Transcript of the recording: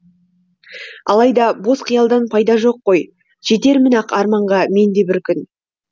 алайда бос қиялдан пайда жоқ қой жетермін ақ арманға мен де бір күн